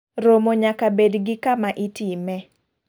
Romo nyaka bed gi kama itime.